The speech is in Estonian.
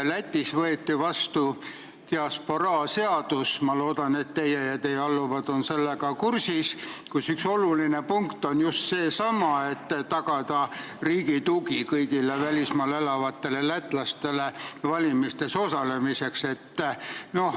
Lätis võeti vastu diasporaa seadus – ma loodan, et teie ja teie alluvad olete sellega kursis –, kus üks oluline punkt on just seesama, et tagada riigi tugi kõigile välismaal elavatele lätlastele valimistes osalemiseks.